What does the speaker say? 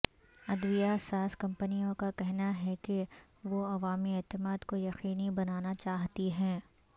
ادویہ ساز کمپنیوں کا کہنا ہے کہ وہ عوامی اعتماد کو یقینی بنانا چاہتی ہیں